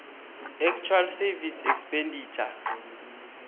actual savings expenditure